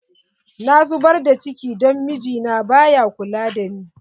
Na zubar da cikin don mijina ba ya kula da ni.